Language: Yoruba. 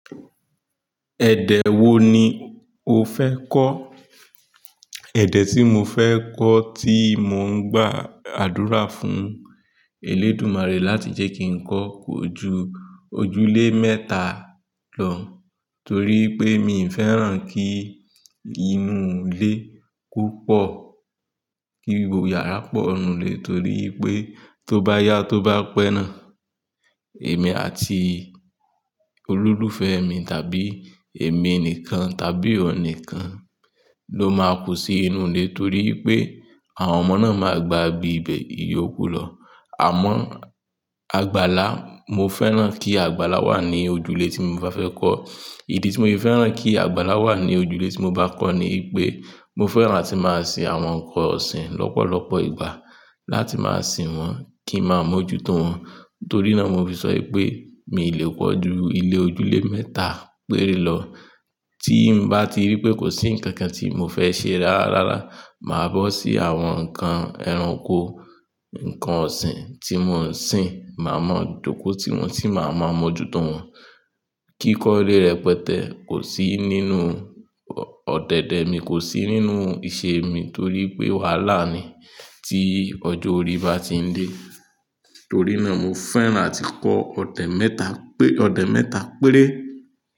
Ẹ̀dẹ̀ wo ni o fẹ́ kọ́? Ẹ̀dẹ̀ tí mo fẹ́ kọ́ tí mò ń gbà àdúrà fún èlédùmarè láti jẹ́ kí n kọ́ kò ju ojúlé mẹ́ta lọ, torí pé mi ò fẹ́ràn kí inú ilé púpọ̀, kí gbogbo yàrá pọ̀ nù lé, torí pé tó bá yá tó bá pẹ́ náà, èmi àti olólùfẹ́ mi tàbí èmi nìkan tàbí òun nìkan ló máa kù sí inú ilé torí pé àwọn ọmọ náà máa gba ibi ibẹ̀ yóò kú lọ. Àmọ́, àgbàlá, mo fẹ́ràn kí àgbàlá wà ní ojúlé tí mo bá fẹ́ kọ́. Ìdí tí mo fi fẹ́ràn kí àgbàlá wà ní ojúlé tí mo bá kọ́ ni pé mo fẹ́ràn láti máa sin àwọn ǹkan ọ̀sìn lọ́pọ̀lọpọ̀ ìgbà láti máa sin wọ́n kí ń máa mójú tó wọn. Nítorí náà mo fi sọ pé mi ò lè kọ́ ju ilé ojúlé mẹ́ta péré lọ. Tí mo bá ti rí pé kò sí ǹkan kan tí mo fẹ́ ṣe rárára, màá bọ́ sí àwọn ǹkan ẹranko, ǹkan ọ̀sìn tí mò ń sin, màá mọ jọ̀kọ́itì wọn tí màá máa mójú tó wọn. Kíkọ́lé rẹpẹtẹ kò sí nínú ọ̀dẹ̀dẹ̀ mi, kò sí nínú ìṣe mi torí pé wàhálà ni tí ọjọ́ orí bá ti ń dé. Torí náà mo fẹ́ràn láti kọ́ ọ̀dẹ̀ mẹ́ta pé-- ọ̀dẹ̀ mẹ́ta péré.